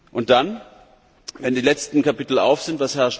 Und dann, wenn die letzten Kapitel geöffnet sind?